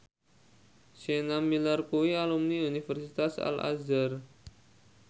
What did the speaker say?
Sienna Miller kuwi alumni Universitas Al Azhar